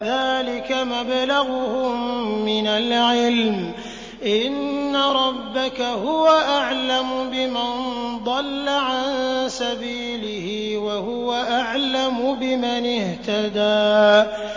ذَٰلِكَ مَبْلَغُهُم مِّنَ الْعِلْمِ ۚ إِنَّ رَبَّكَ هُوَ أَعْلَمُ بِمَن ضَلَّ عَن سَبِيلِهِ وَهُوَ أَعْلَمُ بِمَنِ اهْتَدَىٰ